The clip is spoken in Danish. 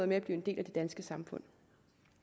med at blive en del af det danske samfund